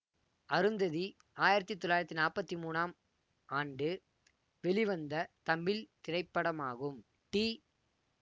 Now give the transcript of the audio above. அருந்ததி ஆயிரத்தி தொள்ளாயிரத்தி நாற்பத்தி மூனாம் ஆண்டு வெளிவந்த தமிழ் திரைப்படமாகும் டி